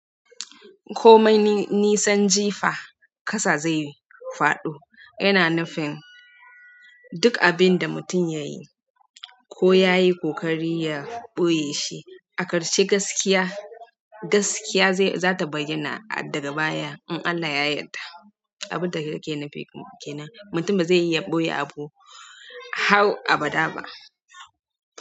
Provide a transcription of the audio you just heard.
Komai nisan jifa ƙasa zai faɗo. Yana nufin duk abinda mutum yayi, ko yayi ƙoƙari ya ɓoye shi, a ƙarshe gaskiya, gaskiya zata baiyana daga baya in Allah ya yarda. Abinda kake nufi kenan, mutum baze iya ɓoye abu har abada ba.